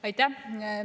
Aitäh!